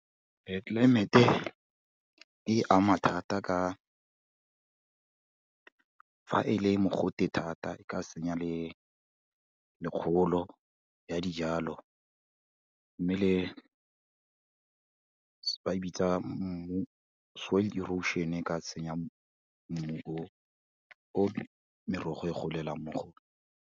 Tlelaemete e ama thata ka fa e le mogote thata, e ka senya le kgolo ya dijalo, mme le, ba e bitsa mmu, soil erosion e ka senya mmu o o merogo e golelang mo go o ne.